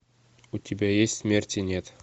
у тебя есть смерти нет